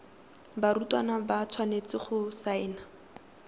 barutwana ba tshwanetse go saena